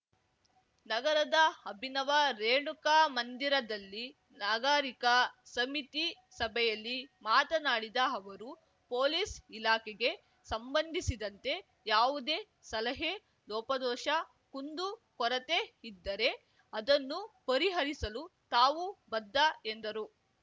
ನಗರದ ಅಭಿನವ ರೇಣುಕಾ ಮಂದಿರದಲ್ಲಿ ನಾಗಾರೀಕ ಸಮಿತಿ ಸಭೆಯಲ್ಲಿ ಮಾತನಾಡಿದ ಅವರು ಪೊಲೀಸ್‌ ಇಲಾಖೆಗೆ ಸಂಬಂಧಿಸಿದಂತೆ ಯಾವುದೇ ಸಲಹೆ ಲೋಪದೋಷ ಕುಂದು ಕೊರತೆ ಇದ್ದರೆ ಅದನ್ನು ಪರಿಹರಿಸಲು ತಾವು ಬದ್ಧ ಎಂದರು